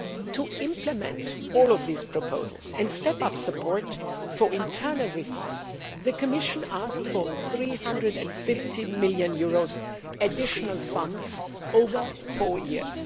To implement all these proposals and step up support for internal reforms, the Commission asked for EUR 350 million additional funds over four years.